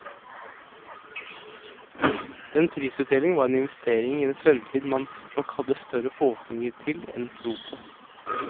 Den prisutdelingen var en investering i en fremtid man nok hadde større forhåpninger til enn tro på.